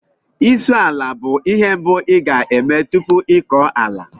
Isụ ala bụ ihe mbụ ị ga-eme tupu ịkọ ala